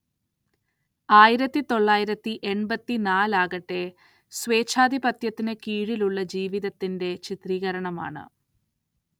ആയിരത്തിതൊള്ളായിരത്തി എൺപത്തിനാലാകട്ടെ, സ്വേച്ഛാധിപത്യത്തിന് കീഴിലുള്ള ജീവിതത്തിന്റെ ചിത്രീകരണമാണ്.